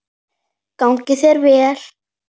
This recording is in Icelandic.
Gangi þér vel.